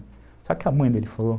Sabe o que a mãe dele falou?